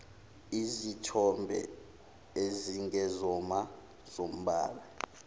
izithombe ezingezona zombala